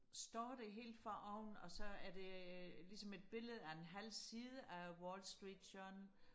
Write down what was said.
står der helt foroven og så er der ligesom et billede af en halv siden af wall street journal